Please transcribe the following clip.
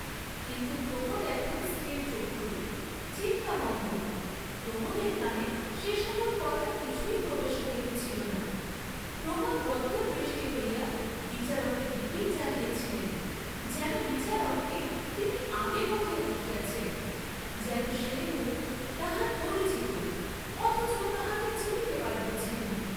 কিন্তু প্রমোদ এখন স্থিরচক্ষু, চিন্তামগ্ন, প্রমোদের কানে সে সকল কথা কিছুই প্রবেশ করিতেছিল না, প্রমোদ বদ্ধদৃষ্টি হইয়া বিচারকের দিকেই চাহিয়াছিলেন, যেন বিচারককে তিনি আগে কোথায় দেখিয়াছেন, যেন সে মুখ তাঁহার পরিচিত অথচ তাঁহাকে চিনিতে পারিতেছেন না।